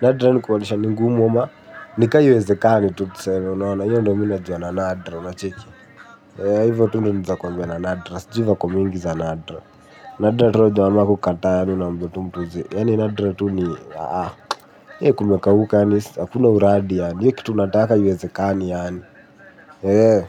Nadra ni kumaanisha ni ngumu ama, nika haiwezekani tu tuseme, unaona hio ndo minajua na nadra, unacheki. Ha hivyo tu ndio naeza kuambia na nadra sijui vako mingi za nadra. Nadiraturo wama kukata ya nuna mvotu mtuze. Yani nadiraturo ni He kumekauka yaani hakuna uradi yani hio kitu unataka haiwezekani yaani He he.